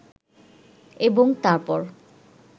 এবং তার পর